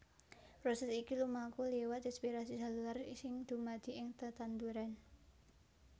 Prosès iki lumaku liwat rèspirasi sélulèr sing dumadi ing tetanduran